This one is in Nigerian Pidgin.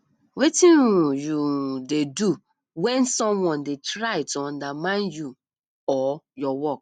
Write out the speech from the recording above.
wetin um you um dey do when someone dey try to undermine you or your work